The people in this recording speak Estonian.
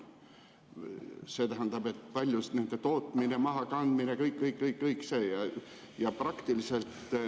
See tähendab, nende tootmine, mahakandmine, kõik-kõik-kõik see.